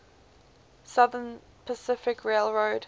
southern pacific railroad